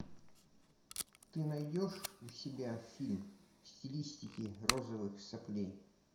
ты найдешь у себя фильм в стилистике розовых соплей